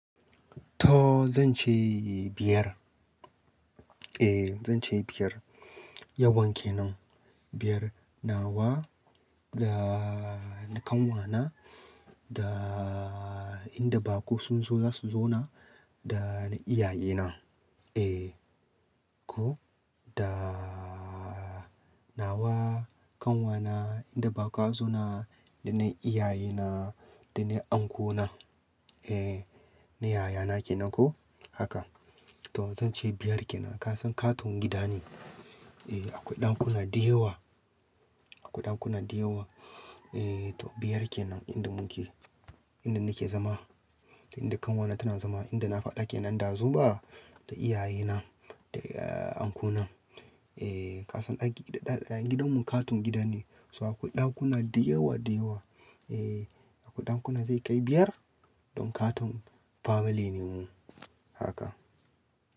To zan ce biyar. Eh zan ce biyar. Yawan ke nan, biyar. Nawa da na kanwa na, da inda baƙo sun zo za su zo na, da na iyaye na. Eh, ko da nawa, kanwa na, inda baƙa zo na, da na iyaye na, da na Uncle na. Eh, na yaya na ke nan ko haka. To zan ce biyar ke nan. Ka san katon gida ne. Eh akwai ɗakuna da yawa, akwai ɗakuna da yawa. Eh to biyar ke nan inda mu ke; inda ni ke zama, inda kanwa na tana zama, inda na faɗa ke nan ɗazu ba, da iyaye na, da Uncle na. Eh ka san a gidan mu katon gida ne, so akwai ɗakuna da yawa, da yawa. Eh akwai ɗakuna zai kai biyar don katon family ne mu haka.